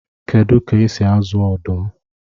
Kedu ka esi azụ ọdụm?